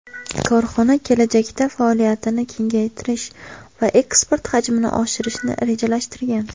Korxona kelajakda faoliyatini kengaytirish va eksport hajmini oshirishni rejalashtirgan.